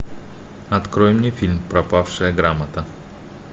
открой мне фильм пропавшая грамота